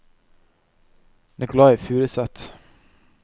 Nicolai Furuseth